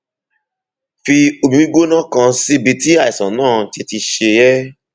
fi omi gbígbóná kan síbi tí àìsàn náà ti ti ṣe é